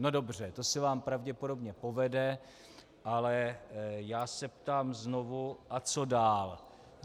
No dobře, to se vám pravděpodobně povede, ale já se ptám znovu: a co dál?